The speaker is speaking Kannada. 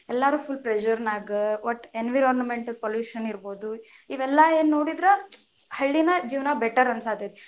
ಎಲ್ಲಾರು full pressure ನಾಗ, ವಟ್ಟ environment pollution ಇರಬಹುದು, ಇವೆಲ್ಲಾ ಏನ್ ನೋಡಿದ್ರ ಹಳ್ಳಿನ ಜೀವನಾ better ಅನ್ಸಾತೇತಿ.